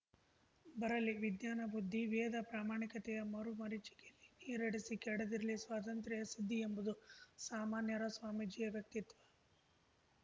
ಬರಲಿ ವಿಜ್ಞಾನ ಬುದ್ಧಿ ವೇದ ಪ್ರಮಾಣತೆಯ ಮರುಮರೀಚಿಕೆಯಲ್ಲಿ ನೀರಡಿಸಿ ಕೆಡದಿರಲಿ ಸ್ವಾತಂತ್ರ್ಯ ಸಿದ್ಧಿ ಎಂಬುದು ಸಾಮಾನ್ಯರ ಸ್ವಾಮೀಜಿಯ ವ್ಯಕ್ತಿತ್ವ